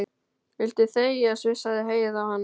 Viltu þegja, sussaði Heiða á hana.